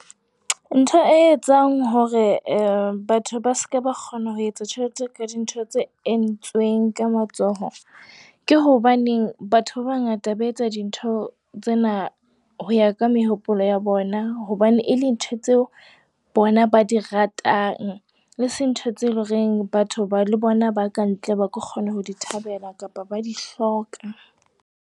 Ntho e etsang hore eh batho ba seka ba kgona ho etsa tjhelete ka dintho tse entsweng ka matsoho, ke hobane batho ba bangata ba etsa dintho tsena ho ya ka mehopolo ya bona hobane e le ntho tseo bona ba di ratang. Eseng ntho tse loreng batho ba le bona ba kantle, ba ka kgona ho di thabela kapa ba di hloka.